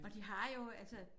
Og de har jo altså